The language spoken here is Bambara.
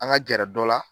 An ka gɛrɛ dɔ la